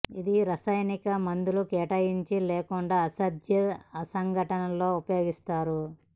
ఇది రసాయనిక మందులు కేటాయించి లేకుండా అసాధ్యం ఆ సంఘటన లో ఉపయోగిస్తారు